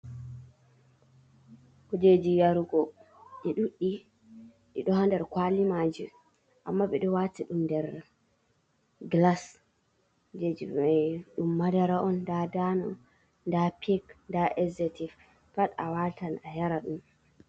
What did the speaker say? Kujeji yarugo, ɗi ɗuɗɗi ɗiɗo ha nder kwali maji, amma ɓeɗo wati ɗum nder gilas, kujejimai ɗum madara on, nda dano, nda pik, nda eezotif, pat awatan ayara dum.